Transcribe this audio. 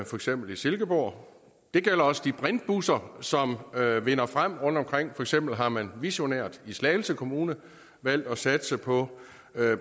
for eksempel i silkeborg det gælder også de brintbusser som vinder frem rundtomkring for eksempel har man visionært i slagelse kommune valgt at satse på